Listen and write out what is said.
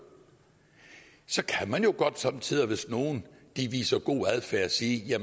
så kan man jo godt somme tider hvis nogen viser god adfærd sige at